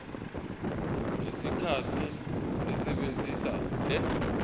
ngesikhathi esebenzisa le